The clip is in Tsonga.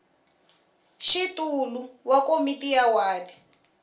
xitulu wa komiti ya wadi